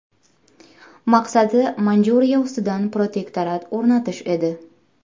Maqsadi Manjuriya ustidan protektorat o‘rnatish edi.